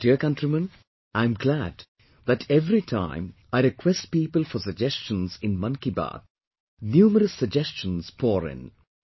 My dear countrymen, I am glad that every time, I request people for suggestions in Mann Ki Baat, numerous suggestions pour in